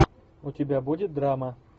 у тебя будет драма